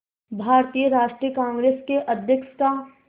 भारतीय राष्ट्रीय कांग्रेस के अध्यक्ष का